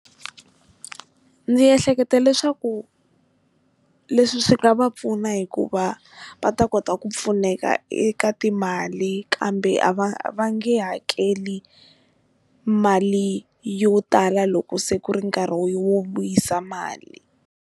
Ndzi ehleketa leswaku leswi swi nga va pfuna hikuva va ta kota ku pfuneka eka timali kambe a va a va nge hakeli mali yo tala loko se ku ri nkarhi wo wo vuyisa mali.